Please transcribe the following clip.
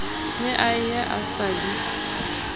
ne a ye a sadise